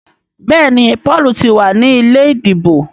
Béèni Paul tí wá ní ilé ìdìbò.